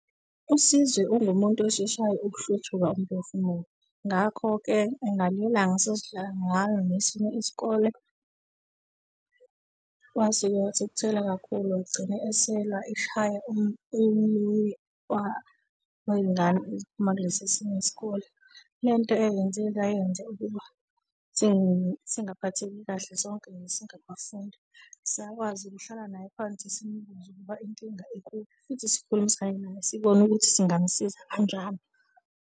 USizwe ungumuntu osheshayo ukuhluthuka umphefumulo, ngakho-ke ngelinye ilanga sasidlala ngalo nesinye isikole, wasuke wathukuthela kakhulu, wagcine eselwa eshaya omunye wey'ngane eziphuma kulesi esinye isikole. Lento eyenzeka yenza ukuba singaphathekile kahle sonke nje singabafundi. Sakwazi ukuhlala naye phansi, simbuze ukuba inkinga ikuphi futhi sikhulumisane naye sibone ukuthi singamsiza kanjani.